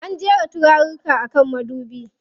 An jera turaruka a kan madubi.